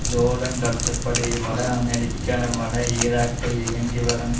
Jordan கருத்துப்படி America வட ஈராக்கில் இயங்கி வரும்